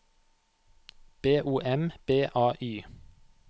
B O M B A Y